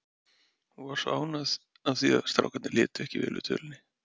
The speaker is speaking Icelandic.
Hún var svo ánægð af því að strákarnir létu vel yfir dvölinni.